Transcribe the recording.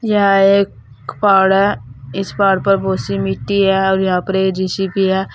यह एक पहाड़ है इस पहाड़ पर बहुत सी मिट्टी है और यहां पर ये जे_सी_बी है।